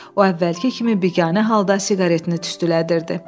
O əvvəlki kimi biganə halda siqaretini tüstüləyirdi.